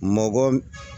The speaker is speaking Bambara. Mɔgɔ